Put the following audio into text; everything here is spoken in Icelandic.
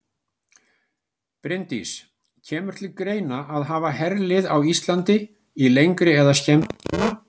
Bryndís: Kemur til greina að hafa herlið á Íslandi í lengri eða skemmri tíma?